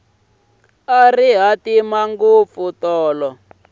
a ri hatima ngopfu tolo